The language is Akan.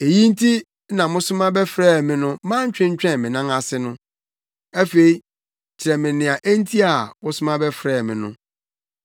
Eyi nti na mosoma bɛfrɛɛ me no mantwentwɛn me nan ase no. Afei kyerɛ me nea enti a wosoma bɛfrɛɛ me no.”